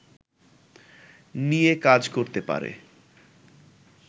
নিয়ে কাজ করতে পারে